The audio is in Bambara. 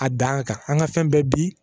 A dan kan an ka fɛn bɛɛ bi